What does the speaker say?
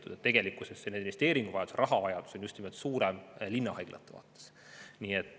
Nii et tegelikkuses investeeringuvajadus, rahavajadus on suurem just nimelt linna haiglatel.